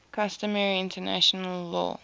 customary international law